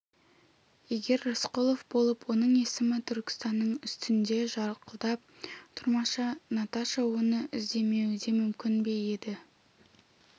егер рысқұлов болып оның есімі түркістанның үстінде жарқылдап тұрмаса наташа оны іздемеуі де мүмкін бе еді